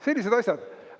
Sellised asjad.